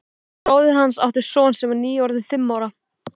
Bróðir hans átti son sem var nýorðinn fimm ára.